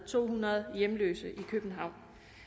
to hundrede hjemløse i københavn